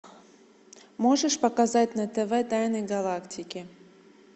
можешь показать на тв тайны галактики